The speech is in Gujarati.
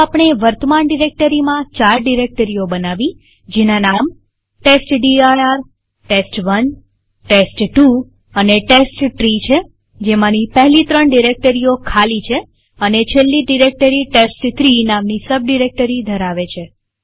તો આપણે વર્તમાન ડિરેક્ટરીમાં ચાર ડિરેક્ટરીઓ બનાવી જેના નામ testdirtest1ટેસ્ટ2 અને ટેસ્ટટ્રી છેજેમાંની પહેલી ત્રણ ડિરેક્ટરીઓ ખાલી છે અને છેલ્લી ડિરેક્ટરી ટેસ્ટ3 નામની સબ ડિરેક્ટરી ધરાવે છે